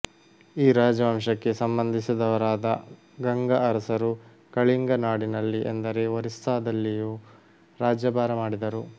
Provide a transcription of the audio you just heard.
ಈ ರಾಜವಂಶಕ್ಕೆ ಸಂಬಂಧಿಸಿದವರಾದ ಗಂಗ ಅರಸರು ಕಳಿಂಗ ನಾಡಿನಲ್ಲಿ ಎಂದರೆ ಒರಿಸ್ಸದಲ್ಲಿಯೂ ರಾಜ್ಯಭಾರ ಮಾಡಿದರು